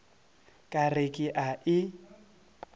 ka re ke a e